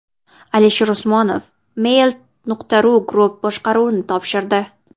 Alisher Usmonov Mail.ru Group boshqaruvini topshirdi.